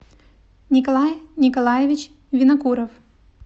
николай николаевич винокуров